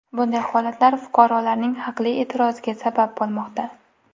Bunday holatlar fuqarolarning haqli e’tiroziga sabab bo‘lmoqda.